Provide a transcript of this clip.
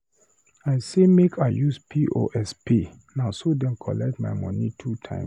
I say make I use POS pay, na so dem collect my moni two times.